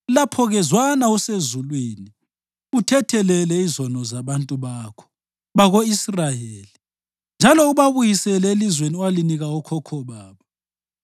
lapho-ke zwana usezulwini uthethelele izono zabantu bakho bako-Israyeli njalo ubabuyisele elizweni owalinika okhokho babo.